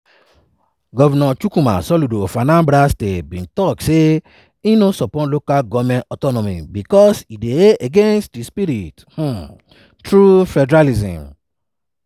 govnor chukwuma soludo of anambra state bin don tok say e no support local goment autonomy bicos e dey against di spirit of um true federalism.